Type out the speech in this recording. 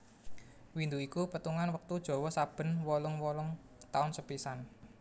Windu iku petungan wektu Jawa saben wolung wolung taun sepisan